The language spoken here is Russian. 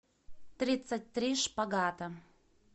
тридцать три шпагата